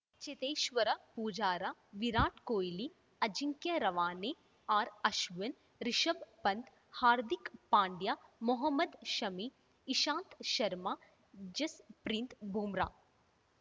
Cheteshwar Pujara Virat Kohli Ajinkya Rahane ಆರ್‌ಅಶ್ವಿನ್‌ Rishabh Pant Hardik Pandya Mohammed Shami Ishant Sharma Jasprit Bumrah